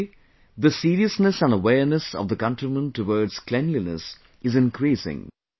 Today, the seriousness and awareness of the countrymen towards cleanliness is increasing